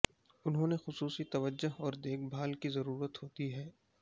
انہوں نے خصوصی توجہ اور دیکھ بھال کی ضرورت ہوتی ہے